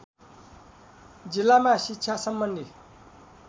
जिल्लामा शिक्षा सम्बन्धी